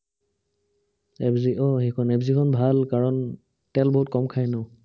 F Z আহ এইখন, F জেটখন ভাল। কাৰণ তেল বহুত কম খাই ন